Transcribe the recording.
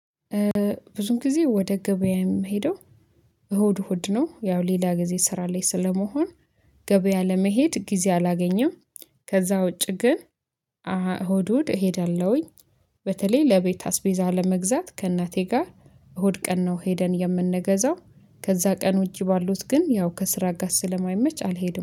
ብዙም ጊዜ ወደ ገበያ የምሄደው እሁድ እሁድ ነው ያው ሌላ ጊዜ ስራ ላይ ስለመሆን ገበያ ለመሄድ ጊዜ አላገኝም። ከዛ ውጪ ግን እሁድ እሁድ እሄዳለሁኝ። በተለይ ለቤት አስቤዛ ለመግዛት ከእናቴ ጋር እሁድ ቀን ነው ሄደን የምንገዛው ከዛ ቀን ውጪ ባሉት ግን ያው ከስራ ጋር ስለማይመች አልሄድም